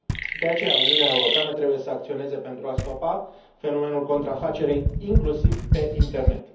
De aceea, Uniunea Europeană trebuie să acționeze pentru a stopa fenomenul contrafacerii, inclusiv pe internet.